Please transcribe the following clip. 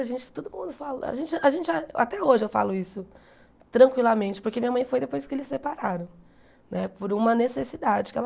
A gente, todo mundo fala a gente a gente até hoje, eu falo isso tranquilamente, porque minha mãe foi depois que eles separaram né, por uma necessidade que ela.